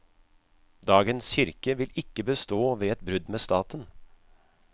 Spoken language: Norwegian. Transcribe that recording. Dagens kirke vil ikke bestå ved et brudd med staten.